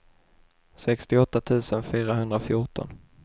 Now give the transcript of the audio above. sextioåtta tusen fyrahundrafjorton